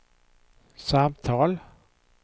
samtal